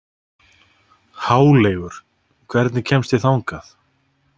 Háleygur, hvernig kemst ég þangað?